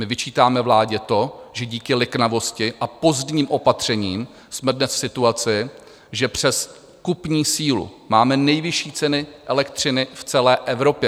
My vyčítáme vládě to, že díky liknavosti a pozdním opatřením jsme dnes v situaci, že přes kupní sílu máme nejvyšší ceny elektřiny v celé Evropě.